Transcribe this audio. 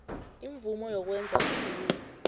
imvumo yokwenza umsebenzi